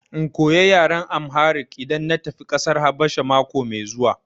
In koya yaran Amharic idan na tafi ƙasar Habasha mako mai zuwa?